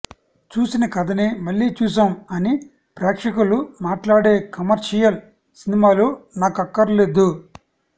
చూసిన కథనే మళ్లీ చూశాం అని ప్రేక్షకులు మాట్లాడే కమర్షియల్ సినిమాలు నాకక్కర్లేదు